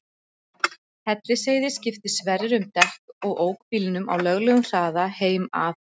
Hellisheiði skipti Sverrir um dekk og ók bílnum á löglegum hraða heim að